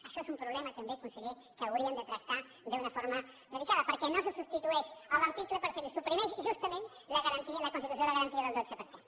això és un problema també conseller que hauríem de tractar d’una forma delicada perquè no se substitueix en l’article però si se li suprimeix justament la garantia la constitució de la garantia del dotze per cent